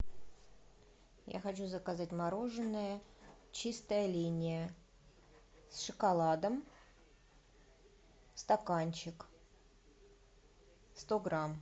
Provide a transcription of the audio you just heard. я хочу заказать мороженое чистая линия с шоколадом стаканчик сто грамм